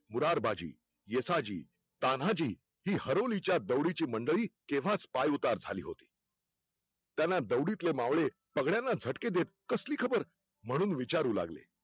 मुरारबाजी, येसाजी, तान्हाजी हे हरुलीच्या दौडीची मंडळी केंव्हाच पाय उतार झाली होती त्याना दौडीतले मावळे सगळयांना झटके देत कसली खबर म्हणून विचारू लागले